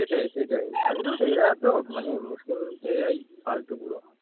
সেটাই সেটাই আরে ধুৎ এরাতো মানে মুসলিমতো এরাই ফালতু পুরো।